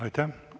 Aitäh!